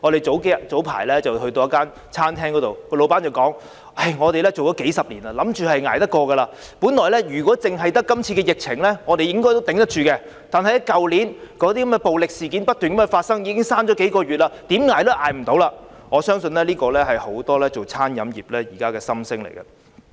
早前我們到一間餐廳，老闆說他們已經營數十年，以為可以捱得過去，他說如果只是今次的疫情，他們應該可以支撐得到，但去年那些暴力事件不斷發生，令他們關門數個月，所以現在怎樣也捱不下去了，我相信這是現時很多經營餐飲業人士的心聲。